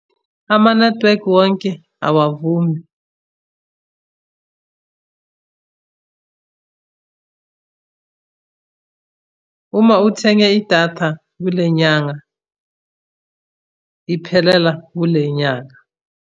Amanethiwekhi wonke awavumi. Uma uthenge idatha kule nyanga, iphelela kule nyanga.